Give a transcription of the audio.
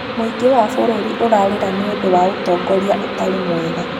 Mũingĩ wa bũrũri ũrarĩra nĩ ũndũ wa ũtongoria ũtarĩ mwega